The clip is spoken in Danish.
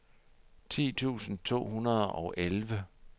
ti tusind to hundrede og elleve